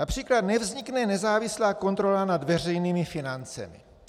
Například nevznikne nezávislá kontrola nad veřejnými financemi.